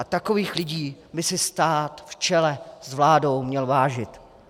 A takových lidí by si stát v čele s vládou měl vážit.